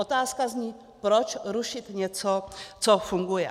Otázka zní: Proč rušit něco, co funguje?